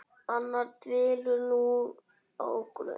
Anna dvelur nú á Grund.